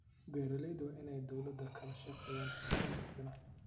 Beeralayda waa in ay dawladda kala shaqeeyaan xoojinta ganacsiga.